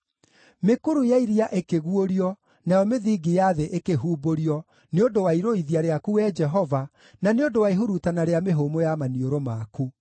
Mĩkuru ya iria ĩkĩguũrio, nayo mĩthingi ya thĩ ĩkĩhumbũrio nĩ ũndũ wa irũithia rĩaku, Wee Jehova, na nĩ ũndũ wa ihurutana rĩa mĩhũmũ ya maniũrũ maku.